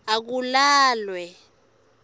akulalwe